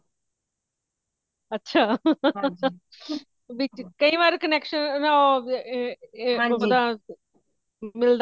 ਅੱਛਾ ਕਈ ਵਾਰ ਨਾ connection ਏ ਉਹ ਮਿਲਦਾ ਨਹੀਂ